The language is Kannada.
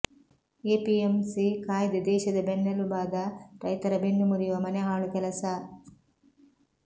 ಎಪಿಎಂಸಿ ಕಾಯ್ದೆ ದೇಶದ ಬೆನ್ನೆಲುಬಾದ ರೈತರ ಬೆನ್ನು ಮುರಿಯುವ ಮನೆಹಾಳು ಕೆಲಸ